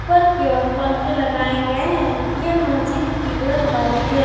ऊपर की ओर पंखे लगाए गए हैं यह मस्जिद की कलर व्हाइट है।